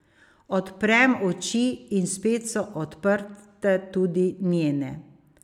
Odprem oči in spet so odprte tudi njene.